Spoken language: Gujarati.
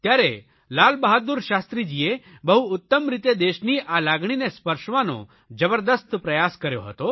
ત્યારે લાલબહાદુર શાસ્ત્રીજીએ બહુ ઉત્તમ રીતે દેશની આ લાગણીને સ્પર્શવાનો જબરદસ્ત પ્રયાસ કર્યો હતો